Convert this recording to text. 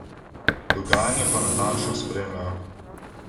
Dogajanje pa natančno spremljajo.